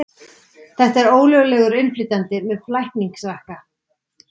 Þetta er ólöglegur innflytjandi með flækingsrakka.